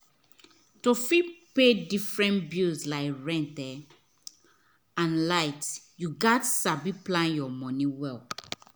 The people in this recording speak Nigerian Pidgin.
to fit pay differerent bills like rent and light you gats sabi plan your money well.